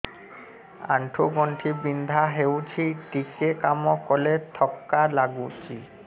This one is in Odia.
ଆଣ୍ଠୁ ଗଣ୍ଠି ବିନ୍ଧା ହେଉଛି ଟିକେ କାମ କଲେ ଥକ୍କା ଲାଗୁଚି